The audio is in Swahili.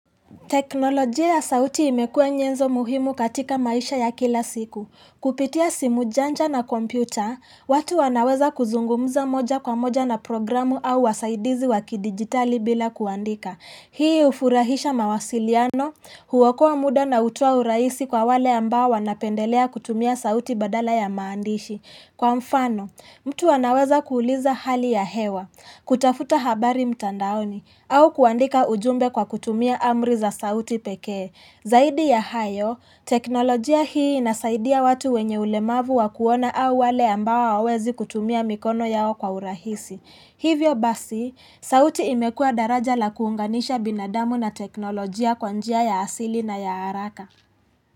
Teknolojia ya sauti imekuwa nyenzo muhimu katika maisha ya kila siku. Kupitia simu janja na kompyuta, watu wanaweza kuzungumuza moja kwa moja na programu au wasaidizi wakidijitali bila kuandika. Hii hufurahisha mawasiliano, huokoa muda na hutoa urahisi kwa wale ambao wanapendelea kutumia sauti badala ya maandishi. Kwa mfano, mtu anaweza kuuliza hali ya hewa, kutafuta habari mtandaoni, au kuandika ujumbe kwa kutumia amri za sauti pekee. Zaidi ya hayo, teknolojia hii inasaidia watu wenye ulemavu wa kuona au wale ambao hawawezi kutumia mikono yao kwa urahisi. Hivyo basi, sauti imekua daraja la kuunganisha binadamu na teknolojia kwa njia ya asili na ya haraka.